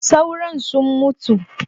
Sauron sun mutu